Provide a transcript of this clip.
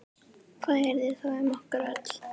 Hvað yrði þá um okkur öll?